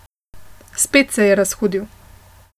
Spet se je razhudil.